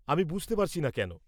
-আমি বুঝতে পারছিনা কেন?